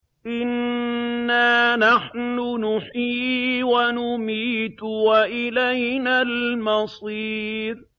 إِنَّا نَحْنُ نُحْيِي وَنُمِيتُ وَإِلَيْنَا الْمَصِيرُ